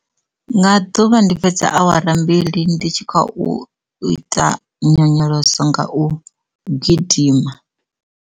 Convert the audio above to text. Nga ḓuvha ndi fhedza awara mbili ndi tshi kha u ita nyonyoloso nga u gidima.